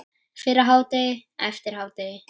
Fyrir hádegi, eftir hádegi.